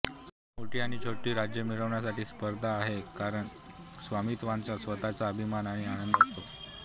मोठी आणि छोटी राज्य मिळवण्याची स्पर्धा आहे कारण स्वामीत्वाचा स्वतःचा अभिमान आणि आनंद असतो